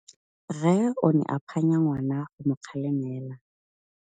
Rre o ne a phanya ngwana go mo galemela.